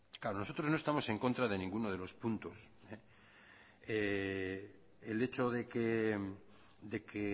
nosotros no estamos en contra de ninguno de los puntos el hecho de que